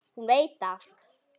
Hún veit allt.